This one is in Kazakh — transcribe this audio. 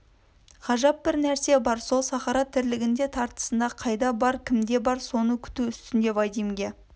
ғажап бір нәрсе бар сол сахара тірлігінде тартысында қайда бар кімде бар соны күту үстінде вадимге